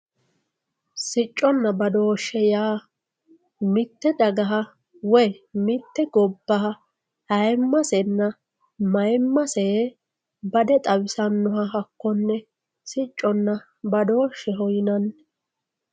Siccona badooshe yaa mitte dagaha woyi mitte gobbaha ayimasenna mayimmase bade xawisanoha hakonne sicconna badooshe yinani